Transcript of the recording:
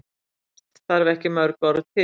Oft þarf ekki mörg orð til.